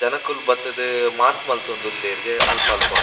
ಜನಕುಲು ಬತ್ತುದು ಮಾರ್ಕ್ ಮಂತೊಂದುಲ್ಲೆರ್ ಅಲ್ಪ ಅಲ್ಪ.